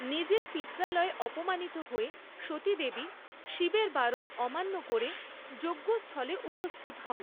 নিজের পিত্রালয়ে অপমানিত হয়ে সতীদেবী শিবের বারণ অমান্য করে যজ্ঞস্থলে উপস্থিত হন।